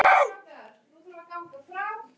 Og hvert ætti Arndís að flýja?